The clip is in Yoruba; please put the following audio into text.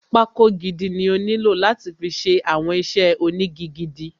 Pákó gidi ni ó nílò láti fi ṣe àwọn iṣẹ́ ónigi gidi.